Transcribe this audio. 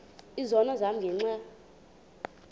izono zam ngenxa